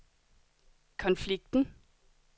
konflikten